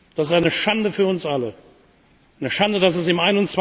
Das ist eine Schande für uns alle, eine Schande, dass es